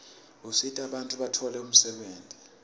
usita bantfu batfole umsebenti